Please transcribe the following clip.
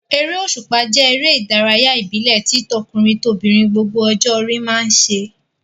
Eré òṣùpá jẹ́ eré ìdárayá ìbílẹ̀ tí tọkùnrin-tobìnrin gbogbo ọjọ́ orí máa ń ṣe.